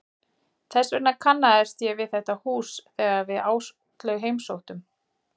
Þess vegna kannaðist ég við þetta hús þegar við Áslaug heimsóttum